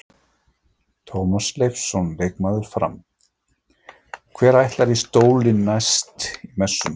Tómas Leifsson leikmaður Fram: Hver ætlar í stólinn næst í Messunni?